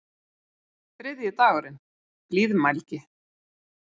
Þriðji dagurinn: Blíðmælgi.